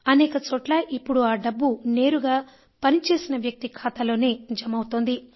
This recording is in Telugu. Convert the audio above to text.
అనేకచోట్ల ఇప్పుడు ఆ డబ్బు నేరుగా పనిచేసిన వ్యక్తి ఖాతాలో జమ ఆవుతోంది